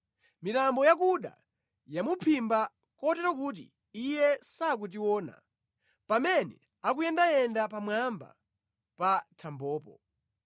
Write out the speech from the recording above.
Mitambo yakuda yamuphimba, kotero kuti Iye sakutiona pamene akuyendayenda pamwamba pa thambopo.’